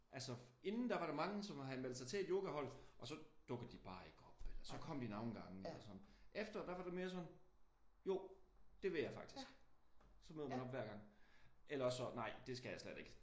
Altså inden der var der mange som havde meldt sig til et yogahold og så dukkede de bare ikke op. Eller så kom de nogle gange eller sådan. Efter var det mere sådan jo det vil jeg faktisk. Så møder man op hver gang eller også nej det skal jeg slet ikke